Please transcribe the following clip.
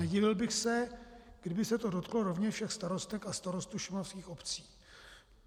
Nedivil bych se, kdyby se to dotklo rovněž všech starostek a starostů šumavských obcí.